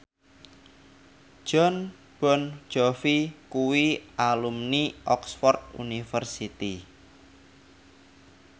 Jon Bon Jovi kuwi alumni Oxford university